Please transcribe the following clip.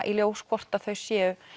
í ljós hvort þau séu